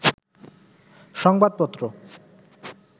সংবাদপত্র